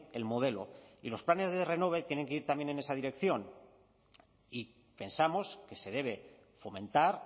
el modelo y los planes renove tienen que ir también en esa dirección y pensamos que se debe fomentar